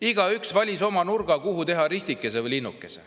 Igaüks valis sedelil oma nurga, kuhu teha ristike või linnuke.